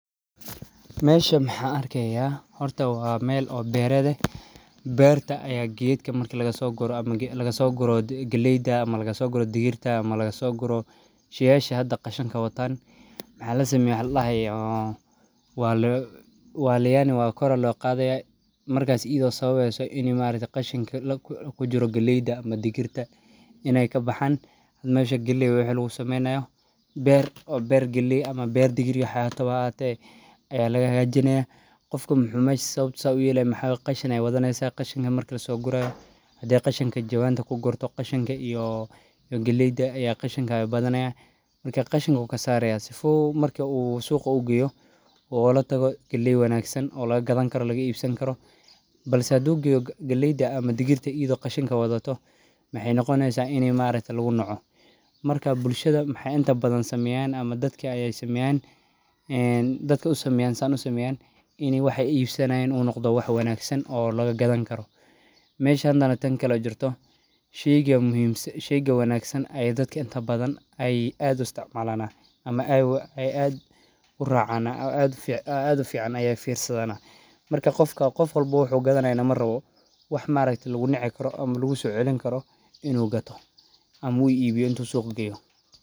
Meshaan maxaa arkeyaa horto wa meel oo beereda. Beerta ayaa geedka marka laga soo guro ama laga soo guro geliida ama laga soo guro digirta ama laga soo guro shiisha hadda qashanka wataan. Maxaa la sameeyo hadla hayo. Waa loo waaliyaani waa kora loo qaaday markaas ido sababay inay maarayta qashinka ku jiro geliida ama digirta inay ka baxaan. Had meesha geliyu wuxuu sameynayo beer, beer geli ama beer digiryo waxa hataa ayaa laga hajiney qofka muxunayaasha. Sabtisa u yeley maxaa qashan ay wadanaysa qashanka marka soo guray. Haddii qashanku jawaan ku gurto qashanka iyo geliida ayaa qashanka badan ah. Markaa qashanka u ka saaraya sifoo marka uu suuqa oogu gayo oo la tago gali wanaagsan oo looga gadan karo laga iibsan karo. Balse adoo galyda ama digirta ido qashanka wadato, maxay noqonaysaa inay maarayta lagu noco? Markaa bulshada maxay inta badan samayn ama dadka ayay samayn? Dadka u samaynsan u samayn inay wax iibsanaaynu u noqdo wax wanaagsan oo laga gadan karo meeshan danartan kala jirto sheego muhiimsa. Sheyga wanaagsan ayaa dadka inta badan ay aad isticmaalana ama ay aad u raacana aad fiican ayee fiirsadaana. Markaa qofka qof walbo wuxuu gadanayn ama rabo wax ma arkto laguniciyn karoo ama lagu soceliyn karoo inuu gato ama uu iibii intuu soo gaaro.